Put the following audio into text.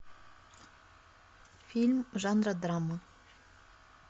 фильм жанра драма